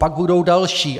Pak budou další.